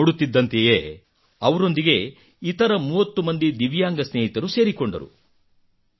ನೋಡ ನೋಡುತ್ತಿದ್ದಂತೆಯೇ ಅವರೊಂದಿಗೆ ಇತರ 30 ಮಂದಿ ದಿವ್ಯಾಂಗ ಸ್ನೇಹಿತರು ಸೇರಿಕೊಂಡರು